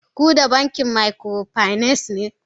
Kuda bankin microfinance ne.